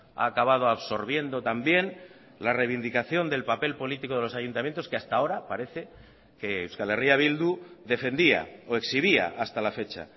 ha acabado absorbiendo también la reivindicación del papel político de los ayuntamientos que hasta ahora parece que euskal herria bildu defendía o exhibía hasta la fecha